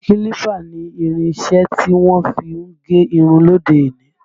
Kílípà ni irinṣẹ́ tí wọ́n fí ń gé irun lóde òní